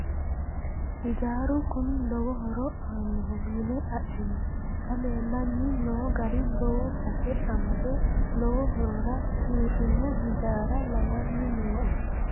Hijaaru kuni lowo horo aanoho yine adhino xa leellanni no gari lowo base amade lowo horora uurrino hijaara lawani nooe.